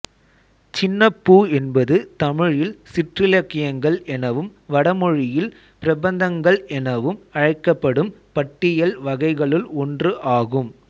சின்னப்பூ என்பது தமிழில் சிற்றிலக்கியங்கள் எனவும் வடமொழியில் பிரபந்தங்கள் எனவும் அழைக்கப்படும் பாட்டியல் வகைகளுள் ஒன்று ஆகும்